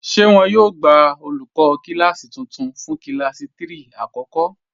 Ṣé wọn yóò gbà olùkọ kílásí tuntun fún kílásí 3 àkọ́kọ́?